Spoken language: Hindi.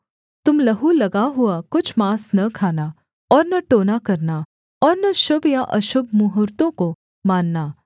तुम लहू लगा हुआ कुछ माँस न खाना और न टोना करना और न शुभ या अशुभ मुहूर्त्तों को मानना